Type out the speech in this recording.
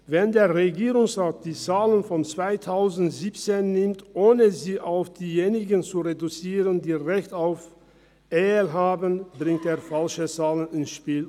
Wenn der Regierungsrat die Zahlen von 2017 verwendet, ohne sie auf die Personen zu reduzieren, die Anrecht auf EL haben, bringt er falsche Zahlen ins Spiel.